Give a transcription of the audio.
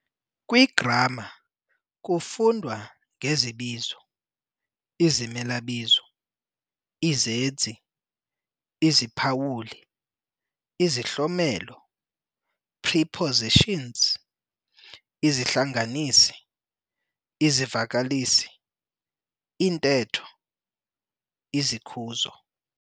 Kwigramma kufundwa ngezibizo, izimelabizo, izenzi, iziphawuli, izihlomelo, prepositions, isihlanganisi, izivakalisi, iintetho, izikhuzo.